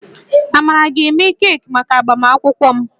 Amarachi ga-eme keeki maka agbamakwụkwọ m